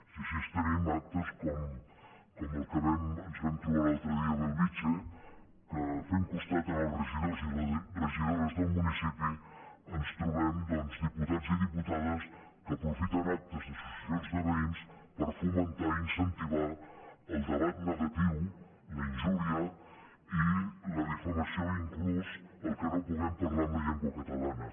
i així tenim actes com el que ens vam trobar l’altre dia a bellvitge que fent costat als re gidors i regidores del municipi ens trobem diputats i diputades que aprofiten actes d’associacions de ve·ïns per fomentar i incentivar el debat negatiu la injúria i la difamació inclús el que no hi puguem parlar en la llengua catalana